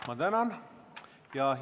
Ma tänan!